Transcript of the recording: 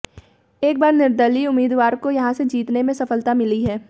एक बार निर्दलीय उम्मीदवार को यहां से जीतने में सफलता मिली है